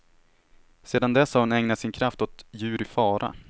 Sedan dess har hon ägnat sin kraft åt djur i fara.